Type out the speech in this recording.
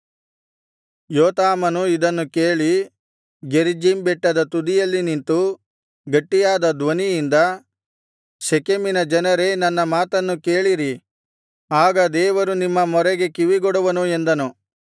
ಯೋತಾಮನು ಇದನ್ನು ಕೇಳಿ ಗೆರಿಜ್ಜೀಮ್ ಬೆಟ್ಟದ ತುದಿಯಲ್ಲಿ ನಿಂತು ಗಟ್ಟಿಯಾದ ಧ್ವನಿಯಿಂದ ಶೆಕೆಮಿನ ಜನರೇ ನನ್ನ ಮಾತನ್ನು ಕೇಳಿರಿ ಆಗ ದೇವರು ನಿಮ್ಮ ಮೊರೆಗೆ ಕಿವಿಗೊಡುವನು ಎಂದನು